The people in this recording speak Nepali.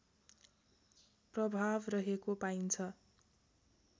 प्रभाव रहेको पाइन्छ